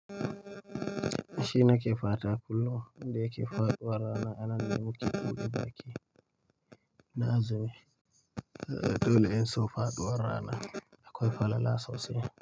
Shi nake fata kullum, wanda yake ya ke faɗuwar rana a nan ne muke buɗe baƙi. Na azumi, dole in so faɗuwar rana. Akwai falala sosai.